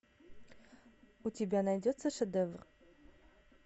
у тебя найдется шедевр